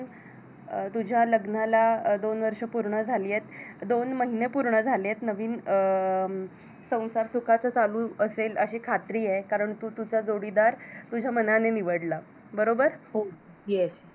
अं तुज्या लग्नाला दोन वर्ष पुंर्ण झालीयेत दोन महिने पूर्ण झालीयेत नवीन अं संसार सुखाचा चालू असेल अशी खात्री आहे कारण तू तुजा जोडीदार तुज्या मनाने निवडला आहे बरोबर हो हो Yes बरोबर